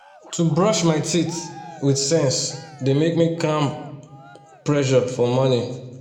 to brush my teeth with sense dey make me calm pressure for mornin